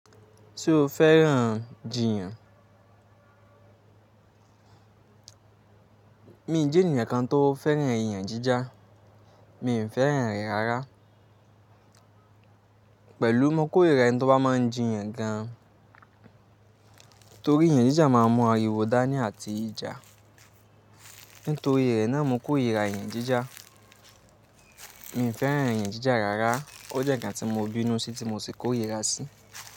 Ṣé o fẹ́ràn jìyàn? Mi n jẹ́ ènìyàn kan tó fẹ́ràn ìyàn jíjà. Mi ò fẹ́ràn rẹ̀ rárá. Pẹ̀lú mo kórira ẹnitobá máa ń jìyàn gan, torí ìyàn jíjà máa ń mú ariwo dání àti ìjà. Nítorí rẹ̀ náà mo kórira ìyàn jíjà. Mi n fẹ́ràn ìyàn jíjà rárá. Ó jẹ́ ǹnkan tí mo bínú sí tí mo sì kórira sí.